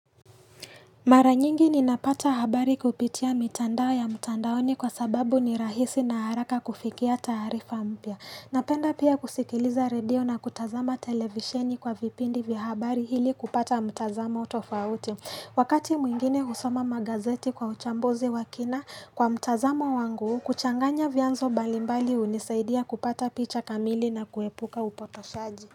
Mara nyingi ninapata habari kupitia mitandao ya mutandaoni kwa sababu ni rahisi na haraka kufikia tarifa mpya. Napenda pia kusikiliza redio na kutazama televisheni kwa vipindi vya habari hili kupata mtazamo tofauti. Wakati mwingine husoma magazeti kwa uchambuzi wa kina kwa mtazamo wangu kuchanganya vyanzo balimbali hunisaidia kupata picha kamili na kuepuka upotoshaji.